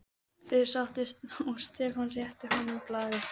Þeir settust og Stefán rétti honum blaðið.